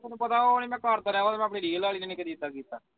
ਤੈਨੂੰ ਪਤਾ ਉਹ ਮੈਂ ਨਹੀਂ ਕਰਦਾ ਉਹ ਤੇ ਮੈਂ ਆਪਣੀ real ਵਾਲੀ ਨਾਲ ਵੀ ਨਹੀਂ ਕਦੀ ਕੀਤਾ